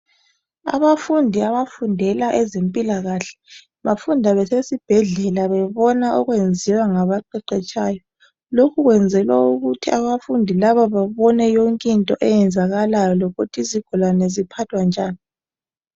Abafundi abafundela ezempilakahle bafunda besibhedlala bebona okwenziwa ngaba qetshetshayo. Lokhu kwenzelwa ukuthi abafundi laba babone yonke into eyenzakalayo lokuthi izigulane ziphathwa njani.